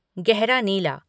गहरा नीला